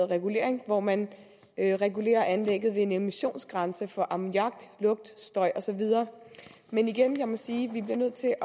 regulering hvor man regulerer anlægget ved en emissionsgrænse for ammoniak lugt støj og så videre men igen kan man sige at vi bliver nødt til at